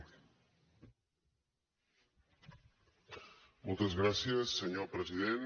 moltes gràcies senyor president